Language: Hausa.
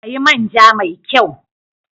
Sayi manja mai kyau!